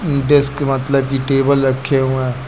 Desk का मतलब की टेबल रखे हुए हैं।